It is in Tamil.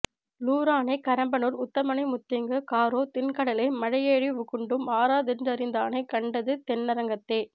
லூரானைக் கரம்பனூர் உத்தமனை முத்திங்கு காரார் திண்கடழேம் மலையேழிவ் வுகுண்டும் ஆராதென் றிந்தானைக் கண்டது தென்னரங்கத்தே